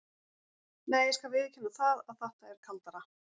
Nei, ég skal viðurkenna það að þetta er kaldara.